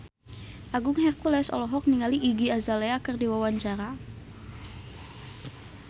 Agung Hercules olohok ningali Iggy Azalea keur diwawancara